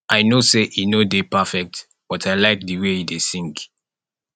i no say he no dey perfect but i like the way he dey sing